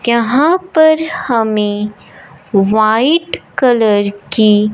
कहां पर हमें व्हाइट कलर की--